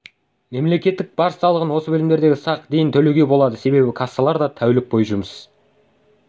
мемлекеттік баж салығын осы бөлімдерде сағ дейін төлеуге болады себебі кассалар да тәулік бойы жұмыс